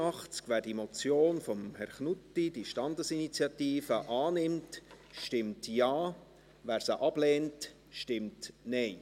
Wer die Motion von Herrn Knutti – diese Standesinitiative – annimmt, stimmt Ja, wer diese ablehnt, stimmt Nein.